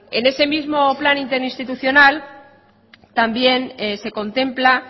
en ese mismo plan interinstitucional también se contempla